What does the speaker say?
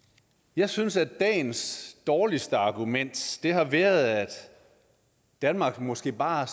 jeg synes at dagens dårligste argument har været at danmark måske bare